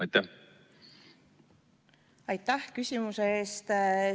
Aitäh küsimuse eest!